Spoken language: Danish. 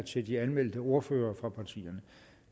til de anmeldte ordførere fra partierne